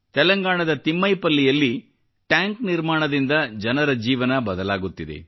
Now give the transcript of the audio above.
ತೆಲಂಗಾಣದ ತಿಮ್ಮೈ ಪಲ್ಲಿಯಲ್ಲಿ ಟ್ಯಾಂಕ್ ನಿರ್ಮಾಣದಿಂದ ಜನರ ಜೀವನ ಬದಲಾಗುತ್ತಿದೆ